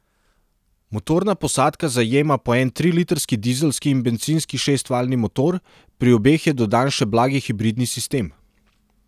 Motorna posadka zajema po en trilitrski dizelski in bencinski šestvaljni motor, pri obeh je dodan še blagi hibridni sistem.